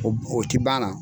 o tɛ ban a na.